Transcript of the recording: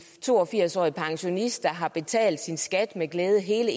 to og firs årig pensionist der har betalt sin skat med glæde hele